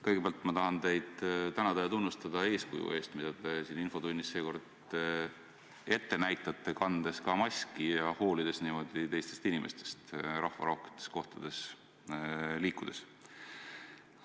Kõigepealt ma tahan teid tänada ja tunnustada eeskuju eest, mida te siin infotunnis seekord ette näitate, kandes ka maski ja hoolides niimoodi teistest inimestest rahvarohketes kohtades liikudes.